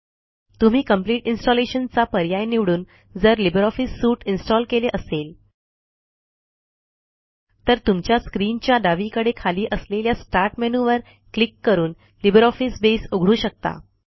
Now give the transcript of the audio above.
तुम्ही complete installation चा पर्याय निवडून जर लिब्रिऑफिस सूट इन्स्टॉल केले असेल तर तुमच्या स्क्रीनच्या डावीकडे खाली असलेल्या स्टार्ट मेनू वर क्लिक करूनLibreOffice बसे उघडू शकता